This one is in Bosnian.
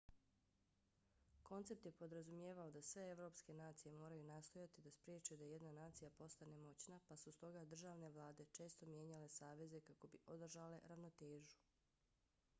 koncept je podrazumijevao da sve evropske nacije moraju nastojati da spriječe da jedna nacija postane moćna pa su stoga državne vlade često mijenjale saveze kako bi održale ravnotežu